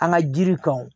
An ka jiri kan